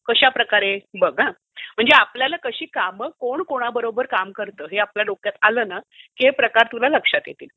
कशाप्रकारे? बघ हा. म्हणजे आपल्याला कशी कामं कोण कोणाबरोबर काम करते हे आपल्या डोक्यात आलं ना की हे प्रकार तुला लक्षात येतील.